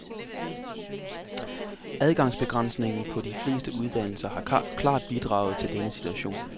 Adgangsbegrænsningen på de fleste uddannelser har klart bidraget til denne situation.